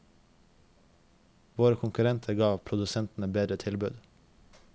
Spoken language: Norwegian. Våre konkurrenter ga produsentene bedre tilbud.